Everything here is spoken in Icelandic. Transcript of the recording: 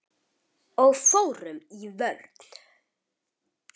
Og fórum í vörn.